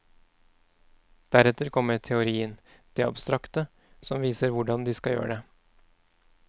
Deretter kommer teorien, det abstrakte, som viser hvordan de skal gjøre det.